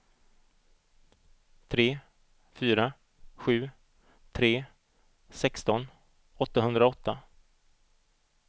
tre fyra sju tre sexton åttahundraåtta